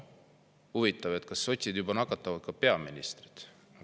" Huvitav, kas sotsid nakatavad juba ka peaministrit.